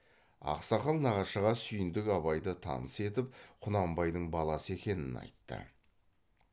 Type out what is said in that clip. ақсақал нағашыға сүйіндік абайды таныс етіп құнанбайдың баласы екенін айтты